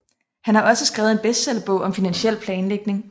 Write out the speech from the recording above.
Han har også skrevet en bestseller bog om finansiel planlægning